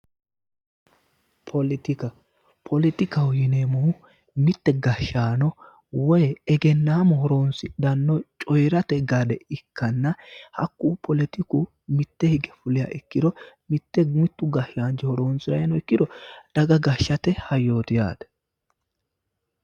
Politikka, politikkaho yinneemmohu mite gashaano woyi egennamu horonsidhano coyirate gade ikkanna hakku politikku mite higge fuliha ikkiro mite mitu gashaanchi horonsiranni nooha ikkiro daga gashaate hayyoti yaate.